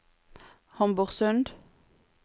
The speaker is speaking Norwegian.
Homborsund